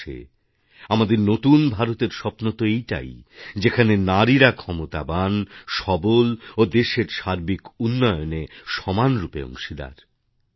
অবশেষে আমাদের নতুন ভারতের স্বপ্নতো এইটাই যেখানে নারীরা ক্ষমতাবান সবল ও দেশের সার্বিক উন্নয়নে সমানরূপে অংশীদার